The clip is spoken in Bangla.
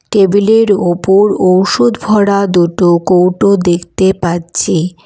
টেবিল -এর ওপর ঔষধ ভরা দুটো কৌটো দেখতে পাচ্ছি।